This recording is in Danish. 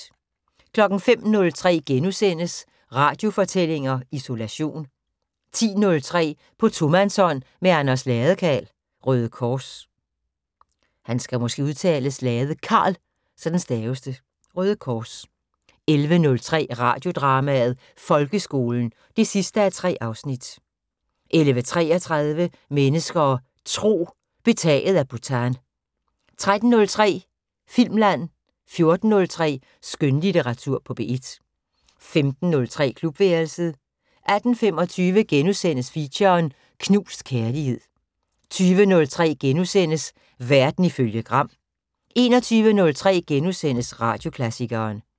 05:03: Radiofortællinger: Isolation * 10:03: På tomandshånd med Anders Ladekarl, Røde Kors 11:03: Radiodrama: Folkeskolen 3:3 11:33: Mennesker og Tro: Betaget af Bhutan 13:03: Filmland 14:03: Skønlitteratur på P1 15:03: Klubværelset 18:25: Feature: Knust kærlighed * 20:03: Verden ifølge Gram * 21:03: Radioklassikeren *